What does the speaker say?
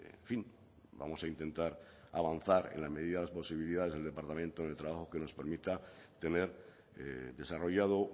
en fin vamos a intentar avanzar en la medida de las posibilidades del departamento de trabajo que nos permita tener desarrollado